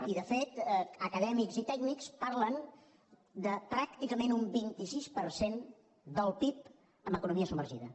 i de fet acadèmics i tècnics parlen de pràcticament un vint sis per cent del pib en economia submergida